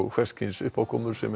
hvers kyns uppákomur sem